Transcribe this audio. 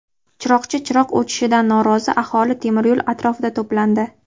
Chiroqchi chiroq o‘chishidan norozi aholi temiryo‘l atrofida to‘plandi.